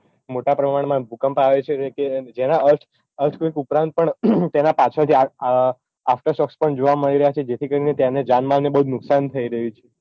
મોટા પ્રમાણમાં ભૂકંપ આવ્યો છે કે જેના earthquke ઉપરાંત પણ તેના પાછળ થી આકર્ષક પણ જોવા મળી રહ્યા છે જેથી કરીને તેને જાન માલને બહુજ નુકસાન થઇ રહ્યું છે